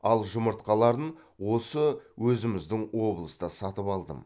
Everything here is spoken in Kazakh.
ал жұмыртқаларын осы өзіміздің облыста сатып алдым